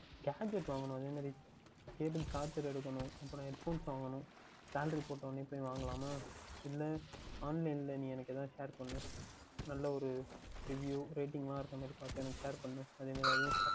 Gadgets வாங்கவேண்டும் அதேமாதிரி Cable Charge எடுக்கவேண்டும் அப்புறம் headphones வாங்கவேண்டும் salary போட்ட உடனே சென்று வாங்கலாமா இல்லை online யில் நீ எனக்கு எதாவுது Share பண்ணு நன்றாக ஓர் review Rating எல்லாம் இருக்கின்ற மாதிரி பார்த்து எனக்கு பண்ணு அதேமாதிரி